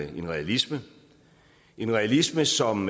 en realisme en realisme som